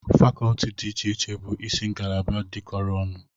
Fakọlti dị iche iche bụ isi ngalaba dịkọrọ ọnụ